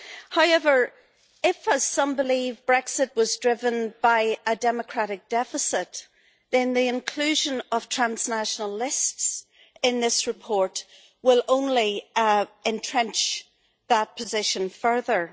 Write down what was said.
However, if, as some believe, Brexit was driven by a democratic deficit, then the inclusion of transnational lists in this report will only entrench that position further.